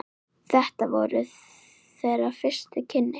Þetta voru þeirra fyrstu kynni.